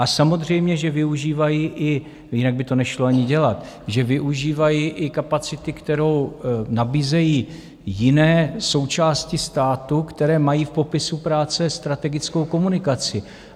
A samozřejmě že využívají i - jinak by to nešlo ani dělat - že využívají i kapacity, kterou nabízejí jiné součásti státu, které mají v popisu práce, strategickou komunikaci.